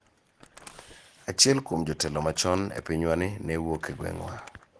Achiel kuom jotelo machon e pinywani ne wuok e gweng'wa.